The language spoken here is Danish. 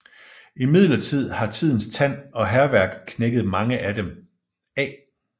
Imidlertid har tidens tand og hærværk knækket mange af dem af